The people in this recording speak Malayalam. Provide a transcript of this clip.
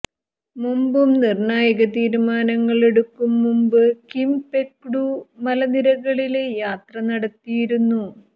മുമ്പും നിര്ണായക തീരുമാനങ്ങളെടുക്കും മുമ്പ് കിം പെക്ടു മലനിരകളില് യാത്ര നടത്തിയിരുന്നു